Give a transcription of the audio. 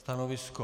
Stanovisko?